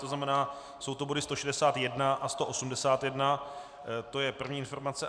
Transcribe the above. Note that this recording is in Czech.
To znamená, jsou to body 161 a 181, to je první informace.